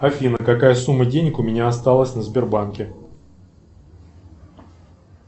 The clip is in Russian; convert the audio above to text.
афина какая сумма денег у меня осталась на сбербанке